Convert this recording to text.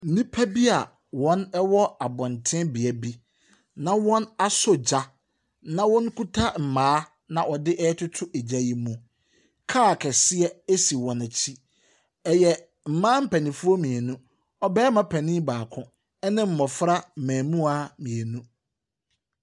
Nnipa bia ɔwɔ abonten bia bi na wɔaso gya na ɔkuta mmaa na wɔdetoto egya no mu. Car kɛseɛ esi wɔn akyi. Ɛyɛ mmaa panyinfoɔ mmienu, ɔbarimma panyin baako ɛna mmɔfra mmɛmoa mmeinu.